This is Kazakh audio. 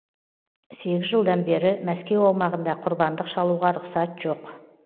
сегіз жылдан бері мәскеу аумағында құрбандық шалуға рұқсат жоқ